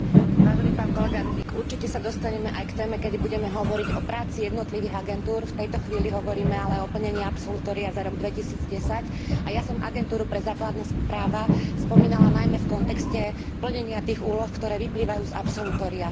Vážený pán kolega Rubik, určite sa dostaneme aj k téme, kedy budeme hovoriť o práci jednotlivých agentúr v tejto chvíli hovoríme ale o plnení absolutória za rok 2010 a ja som Agentúru pre základné práva spomínala najmä v kontexte plnenia tých úloh, ktoré vyplývajú z absolutória.